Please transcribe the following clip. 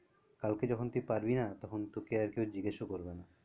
কালকে যখন তুই পারবি না তখন তোকে আর কেউ জিজ্ঞাসাও করবে না